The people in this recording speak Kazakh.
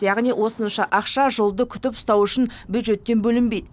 яғни осынша ақша жолды күтіп ұстау үшін бюджеттен бөлінбейді